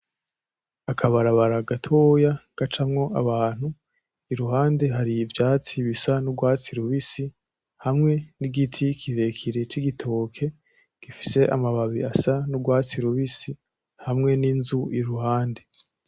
Akabarabara gatoya gacamwo abantu iruhande hari ivyatsi bisa nurwatsi rubisi hamwe nibiti kirekire c'igitoke gifise amababi asa nurwatsi rubisi, hamwe n'inzu iruhande .